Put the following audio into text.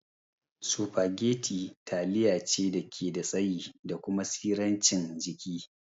Spaghetti taliya ce dake da tsayi da kuma tsirancin jiki